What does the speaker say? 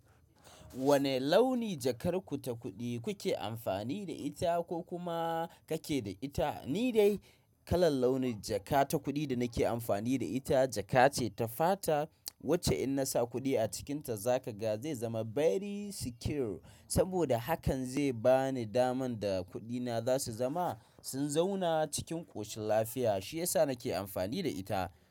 Wane launi jakar ku ta kuɗi kuke amfani da ita ko kuma kake da ita? Ni dai kalar launin jaka ta kuɗi da nake amfani da ita jaka ce ta fata wacce in na sa kuɗi a cikinta za ka ga zai zama very secure saboda hakan zai ba ni daman da kuɗina za su zama sun zauna cikin ƙoshin lafiya. Shi yasa nake amfani da ita.